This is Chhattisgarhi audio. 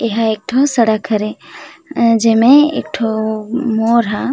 एहा एक ठो सड़क हरे जेमे एक ठो मोड़ ह--